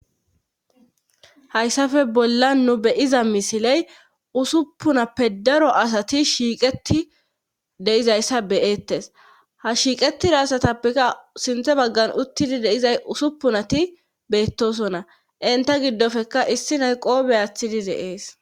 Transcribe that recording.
hayssafe bolla nu beyiza misiley usuppunappe daro asati shiiqeti deizayssa beyettes ha shiiqetira asatappeka sinthe baggan uttidi deizay usuppunati beettosonna inta giddofeka issinay qoobe aathidi dees